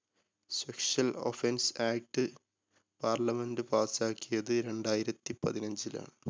sexual offense act parliament pass ക്കിയത് രണ്ടായിരത്തി പതിനഞ്ചിലാണ്.